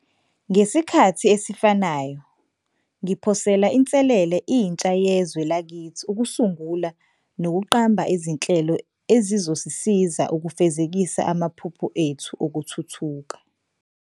Ngesikhathi esifanayo, ngiphosela inselele intsha yezwe lakithi ukusungula nokuqamba izinhlelo ezizosisiza ukufezekisa amaphupho ethu okuthuthuka.